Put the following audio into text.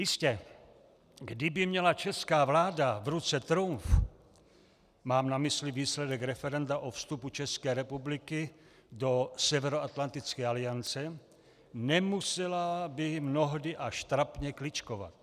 Jistě, kdyby měla česká vláda v ruce trumf, mám na mysli výsledek referenda o vstupu České republiky do Severoatlantické aliance, nemusela by mnohdy až trapně kličkovat.